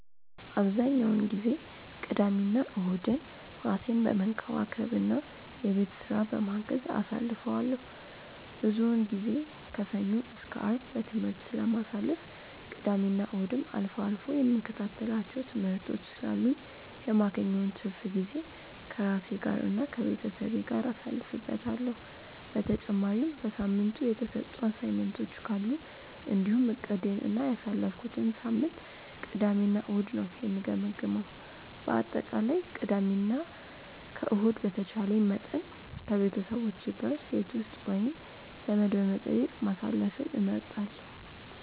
አብዛኛውን ጊዜ ቅዳሜና እሁድን ራሴን በመንከባከብ እና የቤት ስራ በማገዝ አሳልፈዋለሁ። ብዙውን ጊዜ ከሰኞ እስከ አርብ በትምህርት ስለማሳልፍ እና ቅዳሜና እሁድም አልፎ አልፎ የምከታተላቸው ትምህርቶች ስላሉኝ የማገኘውን ትርፍ ጊዜ ከራሴ ጋር እና ከቤተሰቤ ጋር ጊዜ አሳልፍበታለሁ። በተጨማሪም በሳምንቱ የተሰጡ አሳይመንቶች ካሉ እንዲሁም እቅዴን እና ያሳለፍኩትን ሳምንት ቅዳሜ እና እሁድ ነው የምገመግመው። በአጠቃላይ ቅዳሜ እና ከእሁድ በተቻለኝ መጠን ከቤተሰቦቼ ጋር ቤት ውስጥ ወይም ዘመድ በመጠየቅ ማሳለፍን እመርጣለሁ።